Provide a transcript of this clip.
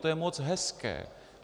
To je moc hezké.